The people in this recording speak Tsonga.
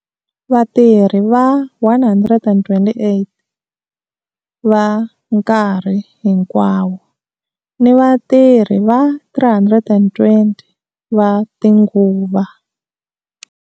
Vatirhi va 128 va nkarhi hinkwawo ni vatirhi va 320 va tinguva.